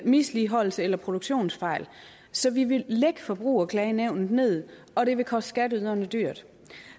misligholdelse eller produktionsfejl så vi ville lægge forbrugerklagenævnet ned og det ville koste skatteyderne dyrt